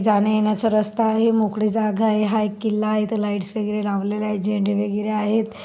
जाण्या येण्याचा रस्ता आहे मोकळी जागा आहे हा एक किल्ला आहे इथे लाइटस वगैरे लावलेले आहेत झेंडे वगैरे आहेत.